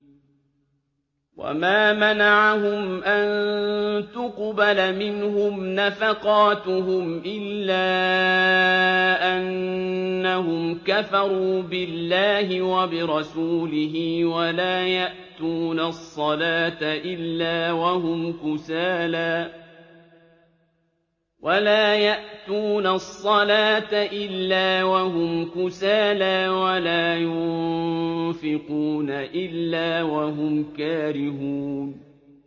وَمَا مَنَعَهُمْ أَن تُقْبَلَ مِنْهُمْ نَفَقَاتُهُمْ إِلَّا أَنَّهُمْ كَفَرُوا بِاللَّهِ وَبِرَسُولِهِ وَلَا يَأْتُونَ الصَّلَاةَ إِلَّا وَهُمْ كُسَالَىٰ وَلَا يُنفِقُونَ إِلَّا وَهُمْ كَارِهُونَ